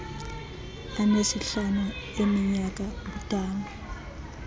anesihlanu eminyaka ubudala